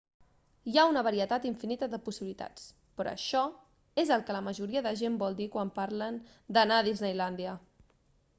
hi ha una varietat infinita de possibilitats però això és el que la majoria de gent vol dir quan parlen d'"anar a disneylàndia